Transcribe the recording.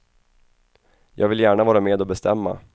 Jag vill gärna vara med och bestämma.